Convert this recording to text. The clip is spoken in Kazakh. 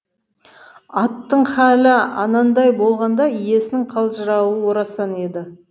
аттың халі анандай болғанда иесінің қалжырауы орасан еді